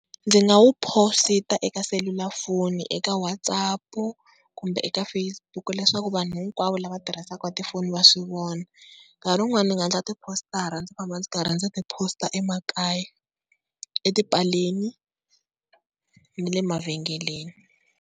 Ndzi nga wu posita eka selulafoni eka WhatsApp kumbe eka Facebook, leswaku vanhu hinkwavo lava tirhisaka tifoni va swi vona. Nkarhi wun'wana ndzi nga endla tipostara ndzi famba ndzi karhi ndzi ti-post-a emakaya etipaleni ni le mavhengeleni.